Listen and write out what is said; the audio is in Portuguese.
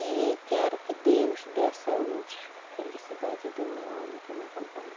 E quero que Deus dê a saúde, felicidade do meu homem que me acompanha.